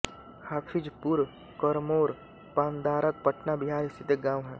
हाफिजपुरकरमोर पानदारक पटना बिहार स्थित एक गाँव है